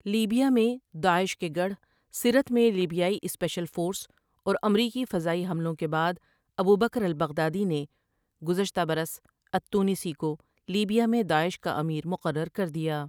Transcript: Libya میں Daesh کے گڑھ سرت میں لیبیائی اسپیشل فورس اور امریکی فضائی حملوں کے بعد ابوبکر البغدادی نے گزشتہ برس التونسی کو لیبیا میں داعش کا امیر مقرر کر دیا ۔